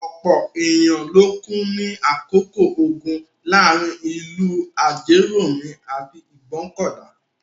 Ọ̀pọ̀ ènìyàn ló kú ní àkókò ogun láàárin ìlú Ajérọ̀mí àti Ìgbọ́kọ̀dà.